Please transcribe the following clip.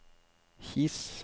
His